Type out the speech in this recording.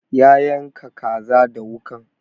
Ya yanka kaza da wuƙan